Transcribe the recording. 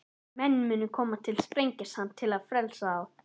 Menn munu koma Sprengisand til þess að frelsa þá.